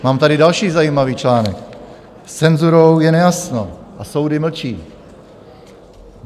Mám tady další zajímavý článek: S cenzurou je nejasno a soudy mlčí.